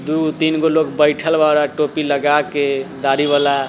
दुगो तीनगो लोग बइठल बाड़न टोपी लागा के दाढ़ी वाला --